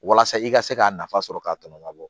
Walasa i ka se k'a nafa sɔrɔ k'a tɔnɔ labɔ